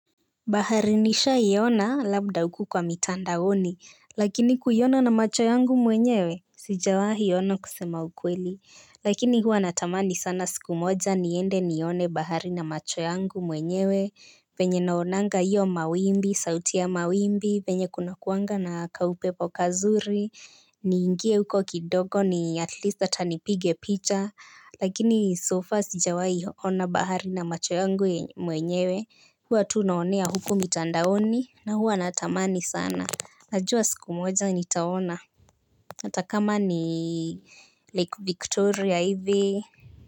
Bahari nishaiona labda huku kwa mitandaoni, lakini kuiona na macho yangu mwenyewe, sijawahi ona kusema ukweli. Lakini hua natamani sana siku moja niende nione bahari na macho yangu mwenyewe, venye naonanga hiyo mawimbi, sauti ya mawimbi, venye kunakuanga na kaupepo kazuri, niingie huko kidogo ni at least hata nipige picha, lakini so far sijawahi ona bahari na macho yangu mwenyewe, huwa tu naonea huko mitandaoni na huwa natamani sana. Najua siku moja nitaona hata kama ni Lake Victoria hivi.